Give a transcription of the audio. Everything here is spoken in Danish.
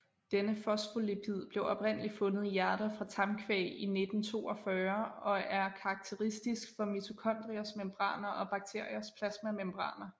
Dette fosfolipid blev oprindeligt fundet i hjerter fra tamkvæg i 1942 og er karakteristisk for mitokondriers membraner og bakteriers plasmamembraner